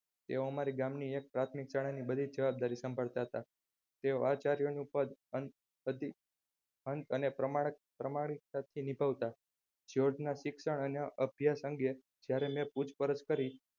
એ અમારા ગામની પ્રાથમિક શાળા ની બધીજ જવાબદારી સાંભળતા હતા તે આચાર્યનું પદ ખંત અને પ્રામાણિકતાથી નિભાવતા જ્યોર્જના શિક્ષણ અને અભ્યાસ અંગે જયારે મેં પૂછપરછ કરી